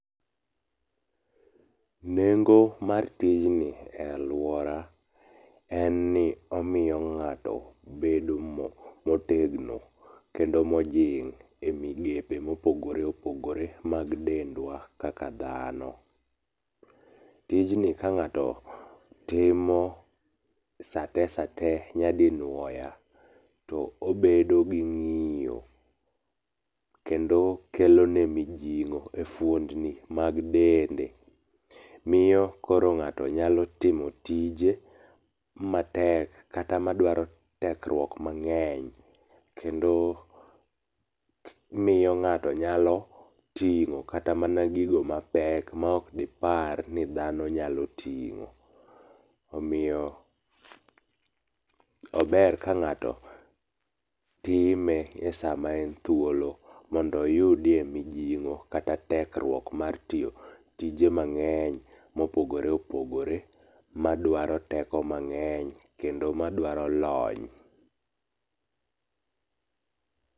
Nengo mar tij ni e aluora en ni omiyo ng'ato bedo motegno. kendo mojing' e migepe mopogor opogore mag dendwa kaka dhano. Tijni ka ng'ato timo sate sate nyadinuoya to obedo gi ng'iyo kendo kelone mijing'o e fuondni mag dende. Miyo koro ng'ato nyalo timo tije matek kata madwaro tekruok mang'eny kendo miyo ng'ato nyalo ting'o kata mana gigo mapek maok dipar ni dhano nyalo ting'o. Omiyo ober ka ng'ato nyalo time esama en thuolo mondo iyudie mijing'o kata tekruok mar tiyo tije mang'eny mopogore opogore madwaro teko mang'eny kendo madwaro lony.